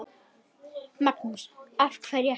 Magnús: Af hverju ekki?